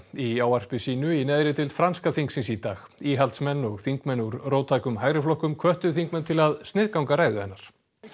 í ávarpi sínu í neðri deild franska þingsins í dag íhaldsmenn og þingmenn úr róttækum hægri flokkum hvöttu þingmenn til að sniðganga ræðu hennar